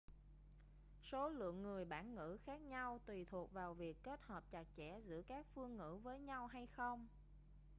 số lượng người bản ngữ khác nhau tùy thuộc vào việc kết hợp chặt chẽ giữa các phương ngữ với nhau hay không